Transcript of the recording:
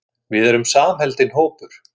Við erum samheldinn hópur.